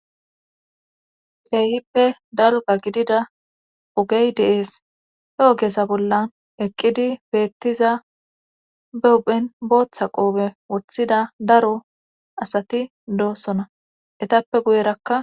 Keehippe dalga gidida ogey deees he ogeza bollan eqqidi beettiza be huphen booththa qoobe woththida daro asati doossona etappe guyerakka.